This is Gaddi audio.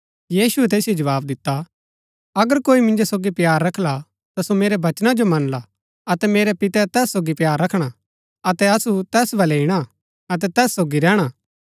यीशुऐ तैसिओ जवाव दिता अगर कोई मिन्जो सोगी प्‍यार रखला ता सो मेरै वचना जो मनला अतै मेरै पितै तैस सोगी प्‍यार रखणा अतै असु तैस बलै ईणा अतै तैस सोगी रैहणा